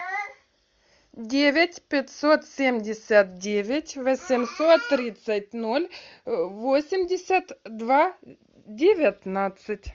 девять пятьсот семьдесят девять восемьсот тридцать ноль восемьдесят два девятнадцать